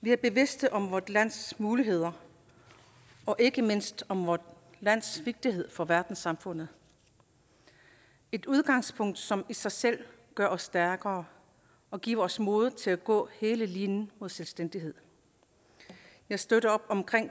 vi er bevidste om vort lands muligheder og ikke mindst om vort lands vigtighed for verdenssamfundet et udgangspunkt som i sig selv gør os stærkere og giver os modet til at gå hele linen mod selvstændighed jeg støtter op om